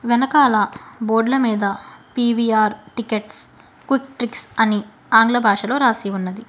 వెనకాల బోర్డ్ల మీద పి_వి_ఆర్ టికెట్స్ క్విక్ ట్రిక్స్ అని ఆంగ్ల భాషలో రాసి ఉన్నది.